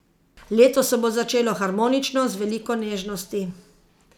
Leto se bo začelo harmonično, z veliko nežnosti.